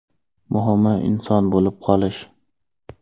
Muhimi inson bo‘lib qolish.